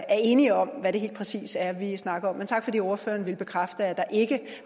er enige om hvad det helt præcis er vi snakker om men tak fordi ordføreren ville bekræfte at der ikke